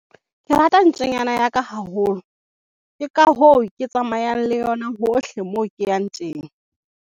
ke rata ntjanyana ya ka haholo ke ka hoo ke tsamayang le yona hohle moo ke yang teng